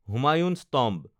Humayun's tomb